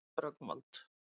Rögnvald